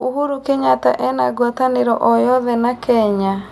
Uhuru Kenyatta ena ngũatanĩro o yothe na Kenya?